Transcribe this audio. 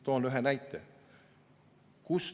Toon ühe näite.